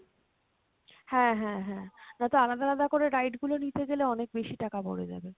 হ্যাঁ হ্যাঁ হ্যাঁ, নাতো আলাদা আলাদা করে ride গুলো নিতে গেলে অনেক বেশি টাকা পরে যাবে।